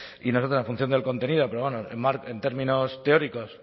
y nosotras en función del contenido pero bueno en términos teóricos